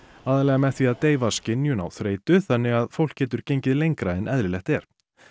aðallega með því að deyfa skynjun á þreytu þannig að fólk getur gengið lengra en eðlilegt er